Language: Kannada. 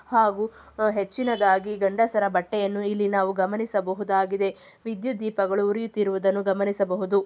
ಹಾಗು ಹೆಚ್ಚಿನದಾಗಿ ಗಂಡಸರ ಬಟ್ಟೆಯನ್ನು ಇಲ್ಲಿ ನಾವು ಗಮನಿಸಬಹುದಾಗಿದೆ ವಿದ್ಯುತ್ ದೀಪಗಳು ಉರಿಯುತ್ತಿರುವುದನ್ನು ಗಮನಿಸಬಹುದು.